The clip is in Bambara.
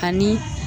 Ani